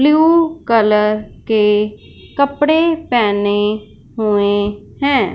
Blue colour के कपड़े पहने हुए हैं।